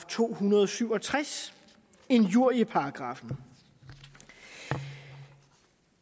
to hundrede og syv og tres injurieparagraffen der